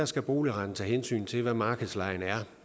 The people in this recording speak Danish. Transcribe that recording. skal boligretten tage hensyn til hvad markedslejen er